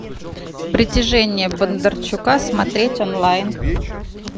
притяжение бондарчука смотреть онлайн